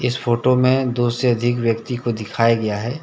इस फोटो में दो से अधिक व्यक्ति को दिखाया गया है।